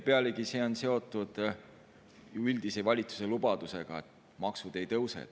Pealegi see on seotud valitsuse üldise lubadusega, et maksud ei tõuse.